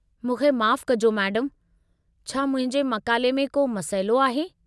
मूंखे माफ़ु कजो मैडमु। छा मुंहिंजे मक़ाले में को मसइलो आहे?